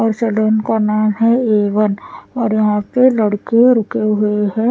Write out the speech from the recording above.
और सदन का नाम है ए वन और यहाँ पे लडके रुके हुए है ।